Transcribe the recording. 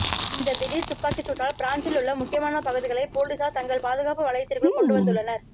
இந்த திடீர் துப்பாக்கிச் சூட்டால் பிரான்சில் உள்ள முக்கியமான பகுதிகளை பொலிசார் தங்கள் பாதுகாப்பு வளையத்திற்குள் கொண்டுவந்துள்ளனர்